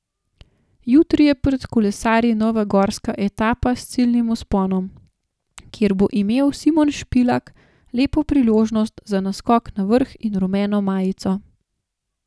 Jutri je pred kolesarji nova gorska etapa s ciljnim vzponom, kjer bo imel Simon Špilak lepo priložnost za naskok na vrh in rumeno majico.